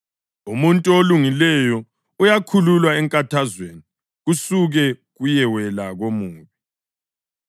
Umuntu olungileyo uyakhululwa enkathazweni, kusuke kuyewela komubi.